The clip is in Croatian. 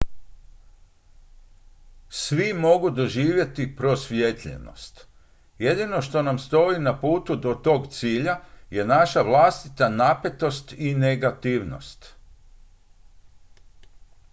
svi mogu doživjeti prosvjetljenost jedino što nam stoji na putu do tog cilja je naša vlastita napetost i negativnost